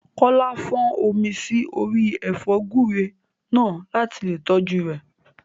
Kọ́lá fọ́n omi sí orí ẹ̀fọ́ gúúre náà láti lè tọ́jú rẹ̀